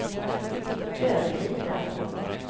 Överlida